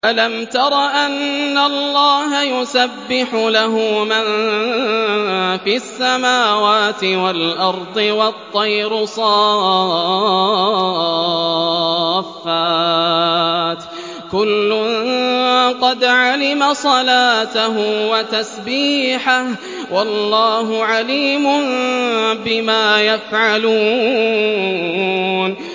أَلَمْ تَرَ أَنَّ اللَّهَ يُسَبِّحُ لَهُ مَن فِي السَّمَاوَاتِ وَالْأَرْضِ وَالطَّيْرُ صَافَّاتٍ ۖ كُلٌّ قَدْ عَلِمَ صَلَاتَهُ وَتَسْبِيحَهُ ۗ وَاللَّهُ عَلِيمٌ بِمَا يَفْعَلُونَ